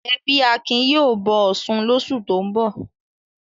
Ẹbí Akin yóò bọ Ọ̀ṣun lóṣù tó ń bọ̀.